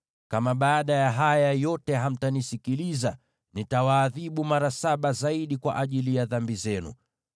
“ ‘Kama baada ya haya yote hamtanisikiliza, nitawaadhibu mara saba zaidi kwa ajili ya dhambi zenu.